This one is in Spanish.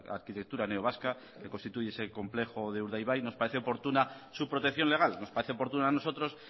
arquitectura neovasca que constituye ese complejo de urdaibai nos parece oportuna su protección legal nos parece oportuna a nosotros